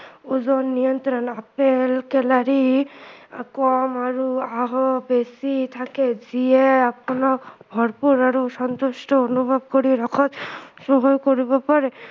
ওজন নিয়ন্ত্ৰণ apple calorie কম আৰু আঁহো বেছি থাকে যিয়ে আপোনাক ভৰপূৰ আৰু শান্তশিষ্ট অনুভৱ কৰি ৰখাত সহায় কৰিব পাৰে